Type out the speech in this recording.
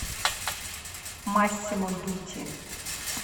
массимо дутти